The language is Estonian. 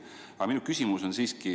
Aga minu küsimus on selline.